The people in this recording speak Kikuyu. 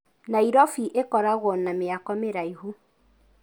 Nairobi ĩkoragwo na mĩako mĩraihu.